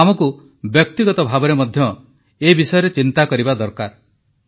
ତେଣୁ ଆମକୁ ବ୍ୟକ୍ତିଗତ ଭାବରେ ମଧ୍ୟ ଏ ବିଷୟରେ ଚିନ୍ତା କରିବା ଦରକାର